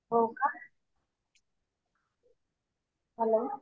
हो का. हॅलो